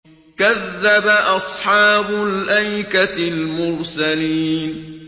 كَذَّبَ أَصْحَابُ الْأَيْكَةِ الْمُرْسَلِينَ